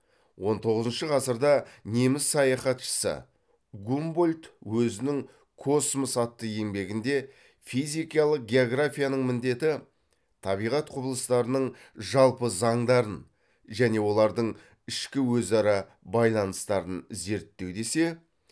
он тоғызыншы ғасырда неміс саяхатшысы гумбольдт өзінің космос атты еңбегінде физикалық географияның міндеті табиғат құбылыстарының жалпы заңдарын және олардың ішкі өзара байланыстарын зерттеу десе